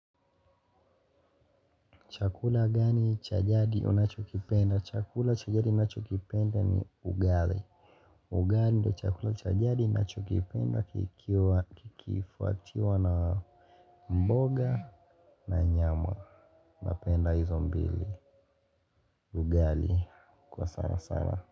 Chakula gani cha jadi unachokipenda? Chakula cha jadi ninachokipenda ni ugali. Ugali ndo chakula cha jadi ninachokipenda kikifuatiwa na mboga na nyama. Napenda hizo mbili ugali kwa sana sana.